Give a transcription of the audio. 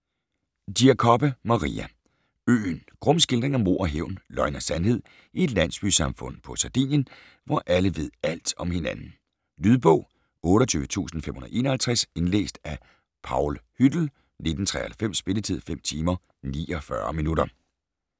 Giacobbe, Maria: Øen Grum skildring af mord og hævn, løgn og sandhed i et landsbysamfund på Sardinien, hvor alle ved alt om hinanden. Lydbog 28551 Indlæst af Paul Hüttel, 1993. Spilletid: 5 timer, 49 minutter.